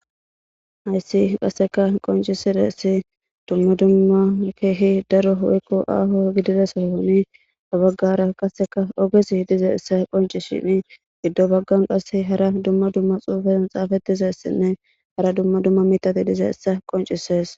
Hayissi qaasse qoncizayissi duma duma darro woyiko ahho giddida sohoni ha baggara qassi ogezi dizayissa qoncisiddi dettesi giddo baggani qassi duma duma medhoti dizayissa qoncisesi